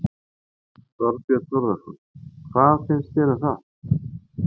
Þorbjörn Þórðarson: Hvað finnst þér um það?